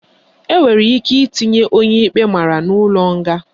Enwere ike itinye onye ikpe mara n'ụlọ nga